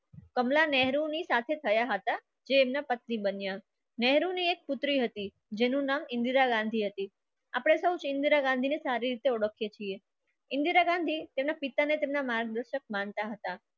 કમલા નહેરુની સાથે થયા હતા. જે એમના પત્ની બન્યા ને એક પુત્રી હતી. જેનું નામ ઇન્દિરા ગાંધી હતી. આપણે સૌ ઇન્દિરા ગાંધીને સારી રીતે ઓળખીએ છીએ. ઇન્દિરા ગાંધી તેના પિતાને તેમના માર્ગદર્શક માનતા હતા.